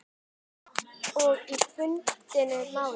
Og í bundnu máli